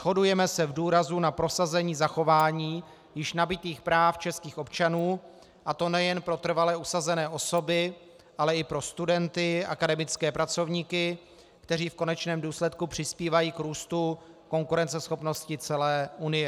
Shodujeme se v důrazu na prosazení zachování již nabytých práv českých občanů, a to nejen pro trvale usazené osoby, ale i pro studenty, akademické pracovníky, kteří v konečném důsledku přispívají k růstu konkurenceschopnosti celé Unie.